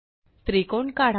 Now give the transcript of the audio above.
त्रिकोण काढा